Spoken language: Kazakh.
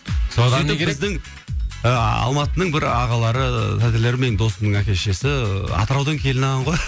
сөйтіп біздің ы алматының бір ағалары тәтелері менің досымның әке шешесі атыраудан келін алған ғой